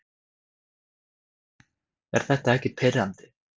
Er þetta ekki pirrandi?